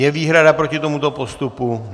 Je výhrada proti tomuto postupu?